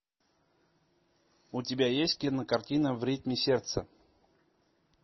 у тебя есть кинокартина в ритме сердца